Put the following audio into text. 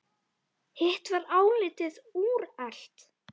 Hitt var álitið úrelt.